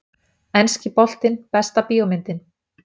Enski boltinn Besta bíómyndin?